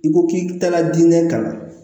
I ko k'i taala diinɛ kama